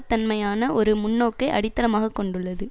தன்மையான ஒரு முன்னோக்கை அடித்தளமாக கொண்டுள்ளது